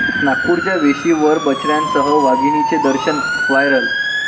नागपूरच्या वेशीवर बछड्यांसह वाघिणीचे दर्शन, व्हायरल